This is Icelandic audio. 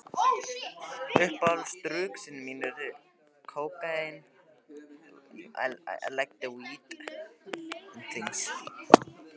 Það var margt sem kom til þess.